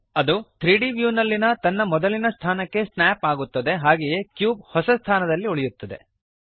ಅದು 3ದ್ ವ್ಯೂನಲ್ಲಿನ ತನ್ನ ಮೊದಲಿನ ಸ್ಥಾನಕ್ಕೆ ಸ್ನಾಪ್ ಆಗುತ್ತದೆ ಹಾಗೆಯೇ ಕ್ಯೂಬ್ ಹೊಸ ಸ್ಥಾನದಲ್ಲಿ ಉಳಿಯುತ್ತದೆ